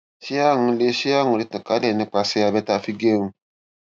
ṣé àrùn lè ṣé àrùn lè tàn kálẹ nípasẹ abẹ tí a fi ń gẹrun